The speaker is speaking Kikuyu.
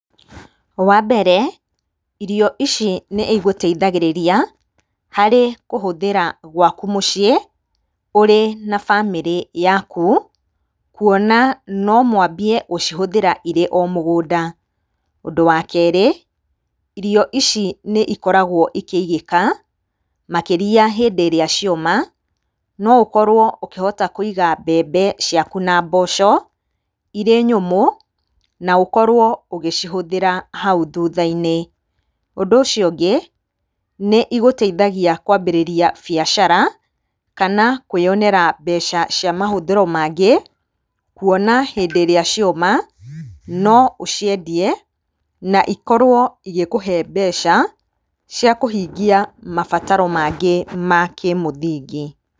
Wambere, irio ici nĩigũteithagĩrĩria harĩ kũhũthĩra gwaku mũciĩ ũrĩ na bamĩrĩ yaku, kuona nomwambie gũcihũthĩra irĩ o mũgũnda. Ũndũ wa kerĩ, irio ici nĩ ikoragwo ikĩigĩka makĩria hĩndĩ ĩrĩa cioma. No ũkorwo ũkĩhota kũiga mbembe ciaku na mboco irĩ nyũmũ na ũkorwo ũgĩcihũthĩra hau thũtha-inĩ. Ũndũ ũcio ũngĩ, ni iguteithagia kwambĩrĩria biacara, kana kũĩyonera mbeca cia mahũthĩro mangĩ, kũona hĩndĩ ĩrĩa cioma, no ũciendie na ikorwo igĩkũhe mbeca cia kũhingia mabataro mangĩ ma kĩmũthingi.